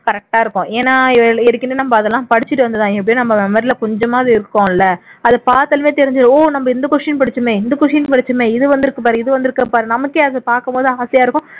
correct ஆ இருக்கும் ஏன்னா ஏற்கனவே நாம அதெல்லாம் படிச்சுட்டு வந்தது தான் எப்படியும் நம்ம memory ல கொஞ்சமாவது இருக்குமுல்ல அதை பாத்தாலே தெரிஞ்சிரும் ஓ நம்ம இந்த question படிச்சோமே இந்த question படிச்சோமே இது வந்துருக்கு பாரு இது வந்துருக்கு பாரு நமக்கே அது பாக்கும் போது ஆசையா இருக்கும்